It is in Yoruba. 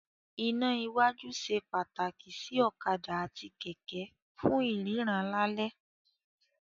Iná iwájú ṣe pàtàkì sí ọ̀kadà àti kẹ̀kẹ́ fún ìríran lálẹ́.